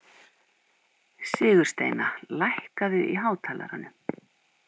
Sigursteina, lækkaðu í hátalaranum.